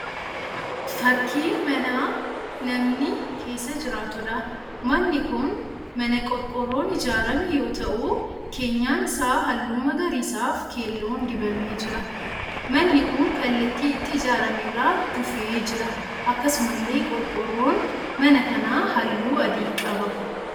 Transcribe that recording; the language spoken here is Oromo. Fakkii mana namni keessa jiraatuudha. Manni kun mana qorqorroon ijaarame yoo ta'u keenyan isaa halluu magariisaa fi keelloon dibamee jira. manni kun kallatti itti ijaarame irraa duufee jira. Akkasumallee qorqorroon mana kanaa halluu adii qaba.